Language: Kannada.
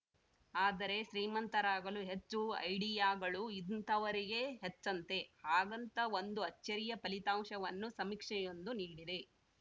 ಆದರೆ ಶ್ರೀಮಂತರಾಗಲು ಹೆಚ್ಚು ಐಡಿಯಾಗಳು ಇಂತಹವರಿಗೇ ಹೆಚ್ಚಂತೆ ಹಾಗಂತ ಒಂದು ಅಚ್ಚರಿಯ ಫಲಿತಾಂಶವನ್ನು ಸಮೀಕ್ಷೆಯೊಂದು ನೀಡಿದೆ